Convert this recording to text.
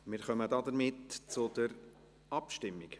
Wir kommen zur Abstimmung.